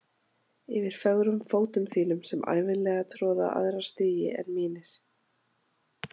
Yfir fögrum fótum þínum sem ævinlega troða aðra stígi en mínir.